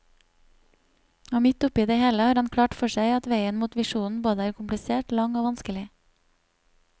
Og midt oppe i det hele har han klart for seg at veien mot visjonen både er komplisert, lang og vanskelig.